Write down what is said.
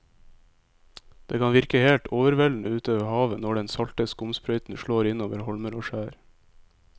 Det kan virke helt overveldende ute ved havet når den salte skumsprøyten slår innover holmer og skjær.